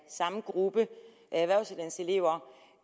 samme gruppe